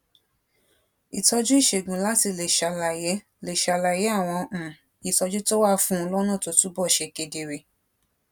ìtójú ìṣègùn láti lè ṣàlàyé lè ṣàlàyé àwọn um ìtójú tó wà fún un lónà tó túbò ṣe kedere